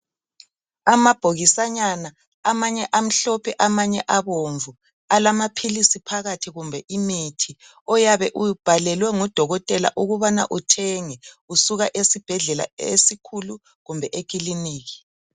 Amabhokisanyana amanye amhlophe amanye abomvu alamaphilisi phakathi kumbe imithi oyabe ubhalwle ngudokotela ukubana uthenge usuka esibhedlela esikhulu kumbe ekiliniki.